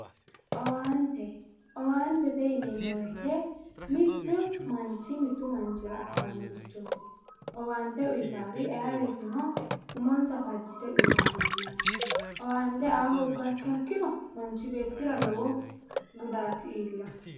owaante owaantete yineemmo woyiite mittu manchi mittu manchira assinannorichooti owaante uyitawoori ayee woyiiteno umonsa fajjite uyiitawo mannaati owaante aa hoogguro manchi beettira lowo gudaati iillawo